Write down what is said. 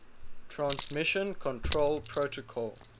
transmission control protocol